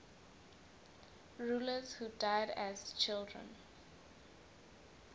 rulers who died as children